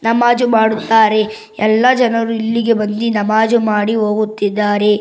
ನಮಾಜು ಮಾಡುತ್ತಾರೆ ಎಲ್ಲ ಜನರು ಇಲ್ಲಿಗೆ ಬಂದಿ ನಮಾಜು ಮಾಡಿ ಹೋಗುತ್ತಿದ್ದಾರೆ.